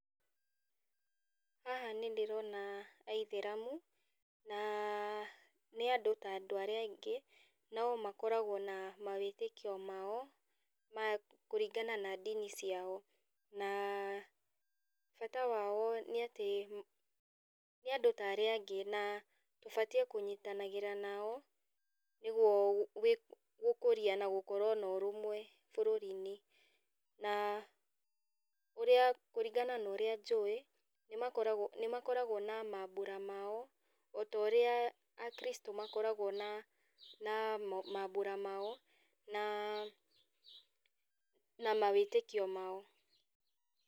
Haha nĩndĩrona aithĩramu, na nĩandũ ta andũ arĩa angĩ, no makoragwo na mawĩtĩkio mao, ma kũringana na ndini ciao. Na bata wao nĩatĩ ma nĩandũ ta arĩa angĩ, na ũbatiĩ kũnyitanagĩra nao, nĩguo gũ gwĩ gũkũria na gũkorwo na ũrũmwe bũrũrinĩ. Na ũrĩa kũringana na ũrĩa njũĩ, nĩmakoragwo nĩmakoragwo na mambũra mao, otorĩa akristũ makoragwo na na mambũra mao, na mawĩtĩkio mao.